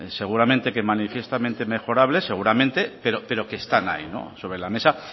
seguramente que manifiestamente mejorables seguramente pero que están ahí no sobre la mesa